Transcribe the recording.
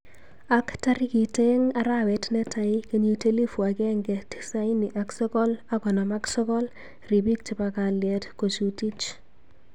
Ak tarikit aeng arawet netai kenyit elifut akenge tisani ak sogol ak konom ak sogol, ribik chebo kallet kojutich